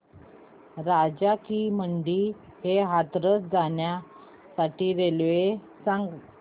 राजा की मंडी ते हाथरस जाण्यासाठी रेल्वे सांग